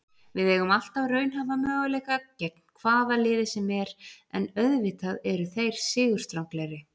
Við eigum alltaf raunhæfa möguleika gegn hvaða liði sem er, en auðvitað eru þeir sigurstranglegri.